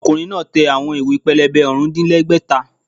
Ọkùnrin náà tẹ àwọn ìwé-pélébé ọ̀rùndínlẹ́gbẹ́ta